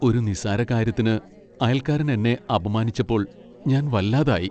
ഒരു നിസ്സാരകാര്യത്തിന് അയൽക്കാരൻ എന്നെ അപമാനിച്ചപ്പോൾ ഞാൻ വല്ലാതായി.